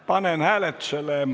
Panen hääletusele ...